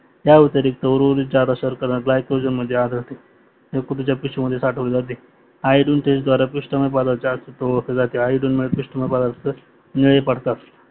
या व्यतिरिक्त उर्वरित जादयास्वर्क गल्यकोजेन मध्ये अढळते. यकृत च्या पिशवी मध्ये साठवले जाते. आयर्न चैन पिष्टमय प्रदार्थात ओडखले जाते आयर्नमुळे पिष्टमय प्रदार्थ निळे पडतात